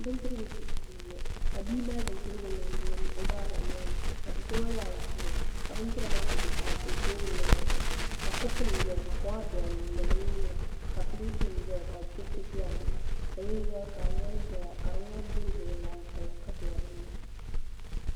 Bindirigu dibu shee n boŋo ka bia mali bindirigu niŋdi o baaba noli ni ka do so gba zaa ʒiya ka bindira maa ku bɛ teebuli maa zuɣu ka kopu nim ʒɛya ka koma bɛ dinni ni bin nyura ka bindira ʒɛya pileet nim ni ni binyɛra ka di ŋmani boroboro laasabu ka bɛ dinni